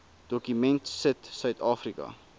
dokument sit suidafrika